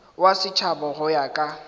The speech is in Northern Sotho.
wa setšhaba go ya ka